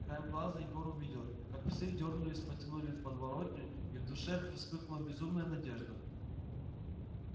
краем глаза егор увидел как псы дёрнулись потянули в подворотню и в душе вспыхнула безумная надежда